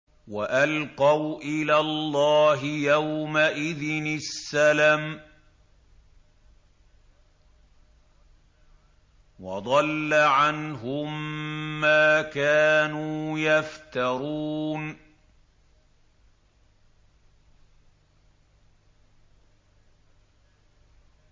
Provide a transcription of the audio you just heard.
وَأَلْقَوْا إِلَى اللَّهِ يَوْمَئِذٍ السَّلَمَ ۖ وَضَلَّ عَنْهُم مَّا كَانُوا يَفْتَرُونَ